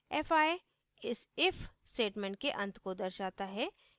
fi इस if statement के अंत को दर्शाता है